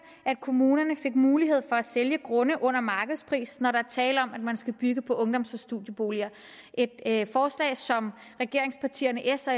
at kommunerne fik mulighed for at sælge grunde under markedspris når der er tale om at man skal bygge ungdoms og studieboliger det er et forslag som regeringspartierne s og